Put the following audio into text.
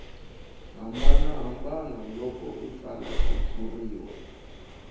hambanahambana loko a tsala xitshuriwa